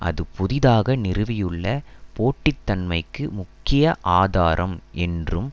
அது புதிதாக நிறுவியுள்ள போட்டித்தன்மைக்கு முக்கிய ஆதாரம் என்றும்